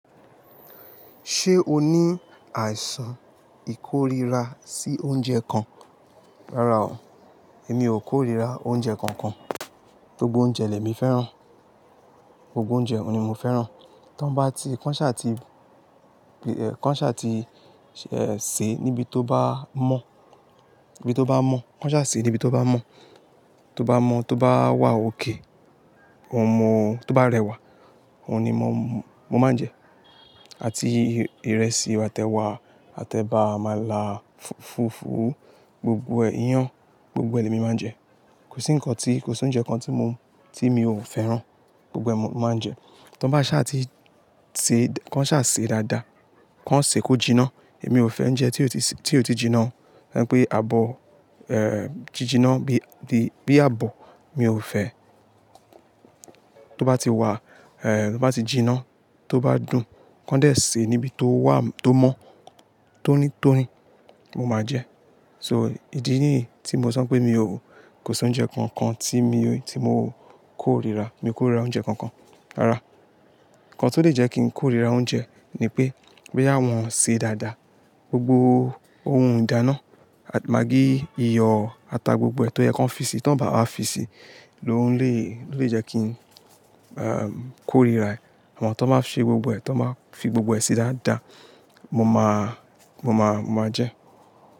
Ṣé o ní àìsàn ìkóríra sí oúnjẹ kan? Rárá o, èmi ò kórìíra oúnjẹ kankan. Gbogbo oúnjẹ lè mi fẹ́ràn. Gbogbo oúnjẹ oun ni mo fẹ́ràn. To ba ti, kó ṣà ti sè níbi tó bá mọ́, tó bá wà òkay, tó bá rẹwà, òhun ni mo máa ń jẹ. Àti ìrẹsì, àte ewa, àtẹ eba, àmála fùfú, gbogbo ẹ̀ iyen, gbogbo ẹ lẹ̀ mi máa ń jẹ. Kò sí oúnjẹ kan tí mi ò fẹ́ràn. Gbogbo ẹ mo máa ń jẹ. Tí wọ́n bá ṣà ti sè, kó ṣà sè dáadáa, kó sè kó jiná. Èmi ò fẹ́ ń ounjẹ tí ó ti jiná. Ẹ̀ ń pè àbọ̀, jiná, bí àbọ̀, mi ò fẹ́. Tí ó bá ti wà, tí ó bá ti jiná, tó bá dùn, kó dé sè níbi tó mọ́, tó ní tó ní, mo máa jẹ. So ìdí nìyí tí mo sọ pé kò sí oúnjẹ kankan tí mo kórìíra. Mi ò kórira oúnjẹ kankan. Rárá. Ǹkan tó lè jẹ́ kí n kórira oúnjẹ ni pé, boya àwọn ṣe dáadáa, gbogbo ohun ìdáná, máagí, iyọ̀ ata gbogbo ẹ, tó ye ki wọ́n fi si, tí wọ́n bá wá fi si, ló lè jẹ́ kí n kórira ẹ̀. Àmọ́ ti wọ́n bá ṣe gbogbo ẹ, tí wọ́n bá fi gbogbo ẹ sí dáadáa, mo máa jẹ́.